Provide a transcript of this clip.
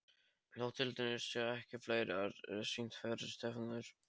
Þótt titlarnir séu ekki fleiri er sýnt hvert stefnir.